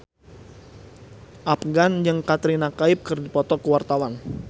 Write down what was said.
Afgan jeung Katrina Kaif keur dipoto ku wartawan